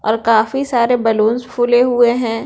और काफी सारे बैलूंस फूले हुए हैं।